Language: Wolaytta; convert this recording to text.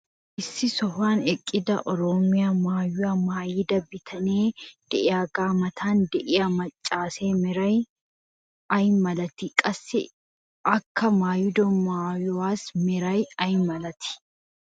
issi sohuwan eqqida oroomiya maayuwa maayida bitanee diyaagaa matan diya macaasee meray ay malatii? qassi akka maayiddo maayuwassi meray ay malatii?